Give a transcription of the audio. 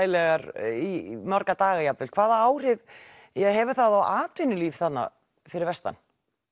í marga daga jafnvel hvaða áhrif hefur það á atvinnulíf þarna fyrir vestan